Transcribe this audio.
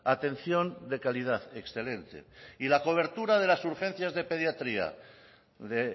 atención de calidad excelente y la cobertura de las urgencias de pediatría de